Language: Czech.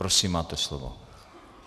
Prosím, máte slovo.